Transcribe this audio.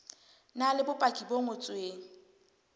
na le bopaki bo ngotsweng